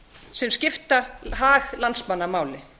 sem skipta hag landsmanna máli